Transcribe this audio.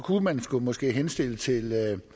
skulle man måske henstille til